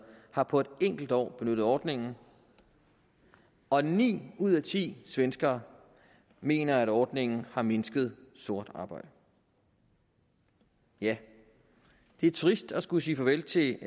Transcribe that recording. har på et enkelt år benyttet ordningen og ni ud af ti svenskere mener at ordningen har mindsket sort arbejde ja det er trist at skulle sige farvel til